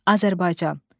Azərbaycan.